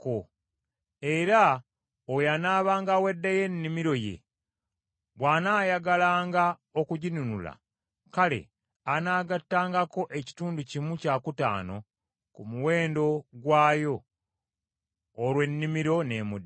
Era oyo anaabanga awaddeyo ennimiro ye bw’anaayagalanga okuginunula, kale anaagattangako ekitundu kimu kyakutaano ku muwendo gwayo, olwo ennimiro n’emuddira.